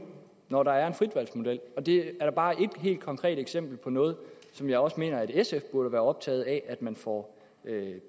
når der er en fritvalgsmodel det er bare et helt konkret eksempel på noget som jeg også mener at sf burde være optaget af at man får